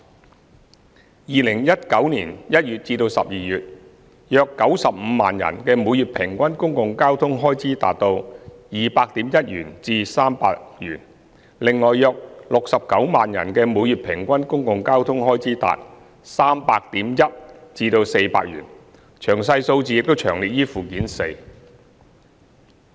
在2019年1月至12月期間，約95萬人的每月平均公共交通開支達 200.1 元至300元，另有約69萬人的每月平均公共交通開支達 300.1 元至400元，詳細數字已詳列於附件四。